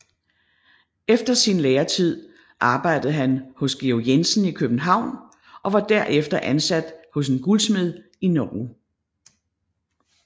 Efter sin læretid arbejdede han hos Georg Jensen i København og var derefter ansat hos en guldsmed i Norge